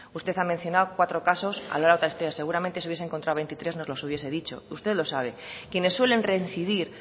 usted ha mencionado cuatro casos a lo largo de la historia seguramente si hubiese encontrado veintitrés nos los hubiese dicho usted lo sabe quienes suelen reincidir